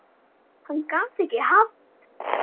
Hann gat ekki haft